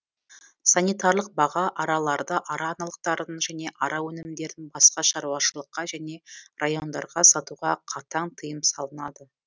санитарлық баға араларды ара аналықтарын және ара өнімдерін басқа шаруашылыққа және райондарға сатуға қатаң тиым салынады